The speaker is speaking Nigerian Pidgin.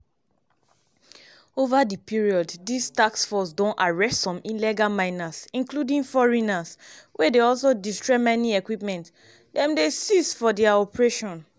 ova di period dis task force don arrest some illegal miners including foreigners wey dey also destroy mining equipment dem dey seize for dia operations.